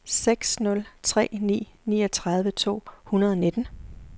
seks nul tre ni niogtredive to hundrede og nitten